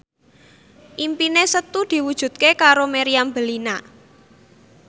impine Setu diwujudke karo Meriam Bellina